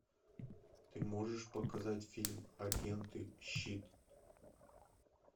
ты можешь показать фильм агенты щит